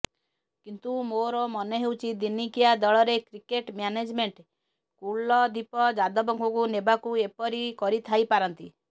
କିନ୍ତୁ ମୋର ମନେ ହେଉଛି ଦିନିକିଆ ଦଳରେ କ୍ରିକେଟ ମ୍ୟାନେଜମେଣ୍ଟ କୁଲଦୀପ ଯାଦବଙ୍କୁ ନେବାକୁ ଏପରି କରିଥାଇପାରନ୍ତି